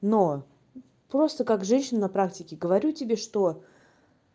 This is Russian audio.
но просто как женщина на практике говорю тебе что